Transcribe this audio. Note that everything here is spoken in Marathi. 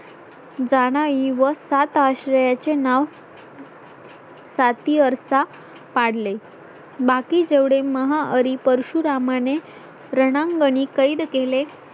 जाणाई व सात आश्रयाचे नाव. सतीयारसा पाडले बाकी जेवढे महाहरी परशुरामाने रणांगणीं कैद केले